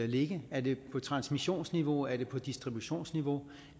ligge er det på transmissionsniveau er det på distributionsniveau